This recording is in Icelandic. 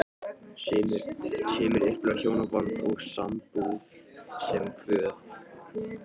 Sumir upplifa hjónaband og sambúð sem kvöð.